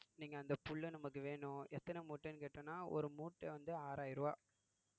நீங்க அந்த புல்ல நமக்கு வேணும் எத்தனை மூட்டைன்னு கேட்டோம்ன்னா ஒரு மூட்டை வந்து ஆறாயிரம் ரூபாய்